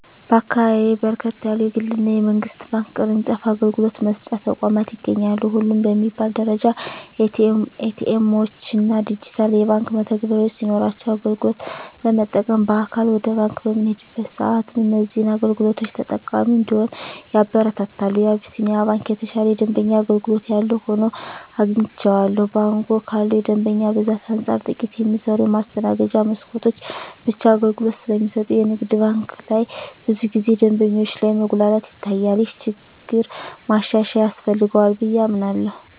በአካባቢየ በርከት ያሉ የግል እና የመንግስት ባንክ ቅርጫፍ አገልግሎት መስጫ ተቋማት ይገኛሉ። ሁሉም በሚባል ደረጃ ኤ.ቲ. ኤምዎች እና ዲጂታል የባንክ መተግበሪያዎች ሲኖሯቸው አገልግሎት ለመጠቀም በአካል ወደ ባንክ በምንሄድበት ሰአትም እዚህን አገልግሎቶች ተጠቃሚ እንድንሆን ያበረታታሉ። የአቢስንያ ባንክ የተሻለ የደንበኛ አገልግሎት ያለው ሆኖ አግኝቸዋለሁ። ባንኩ ካለው የደንበኛ ብዛት አንፃር ጥቂት የሚሰሩ የማስተናገጃ መስኮቶች ብቻ አገልግሎት ስለሚሰጡ የንግድ ባንክ ላይ ብዙ ጊዜ ደንበኞች ላይ መጉላላት ይታያል። ይህ ችግር ማሻሻያ ያስፈልገዋል ብየ አምናለሁ።